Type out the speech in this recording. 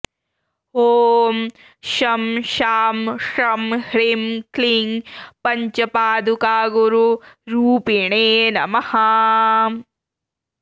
ॐ शं शां षं ह्रीं क्लीं पञ्चपादुकागुरुरूपिणे नमः